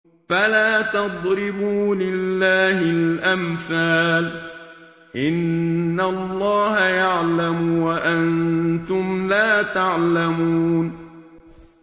فَلَا تَضْرِبُوا لِلَّهِ الْأَمْثَالَ ۚ إِنَّ اللَّهَ يَعْلَمُ وَأَنتُمْ لَا تَعْلَمُونَ